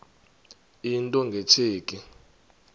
into nge tsheki